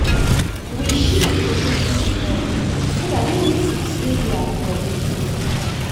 we shift dey occasion small so that relatives wey dey abroad go fit come.